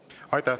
Aitäh!